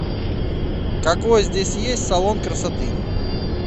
какой здесь есть салон красоты